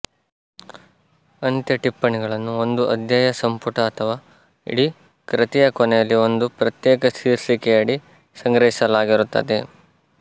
ಅಂತ್ಯ ಟಿಪ್ಪಣಿಗಳನ್ನು ಒಂದು ಅಧ್ಯಾಯ ಸಂಪುಟ ಅಥವಾ ಇಡೀ ಕೃತಿಯ ಕೊನೆಯಲ್ಲಿ ಒಂದು ಪ್ರತ್ಯೇಕ ಶೀರ್ಷಿಕೆಯಡಿ ಸಂಗ್ರಹಿಸಲಾಗಿರುತ್ತದೆ